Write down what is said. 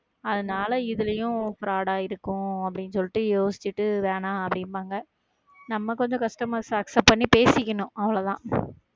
அதனால, இதுலயும் பிரைட்ஆ இருக்கும் அப்படின்னு சொல்லிட்டு, யோசிச்சுட்டு வேணாம் அப்படிம்பாங்க நம்ம கொஞ்சம் customers அ accept பண்ணி பேசிக்கணும், அவ்வளவுதான்.